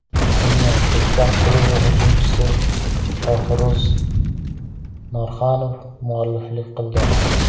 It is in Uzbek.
Unga Jizzax klubi hujumchisi Shohruz Norxonov mualliflik qildi.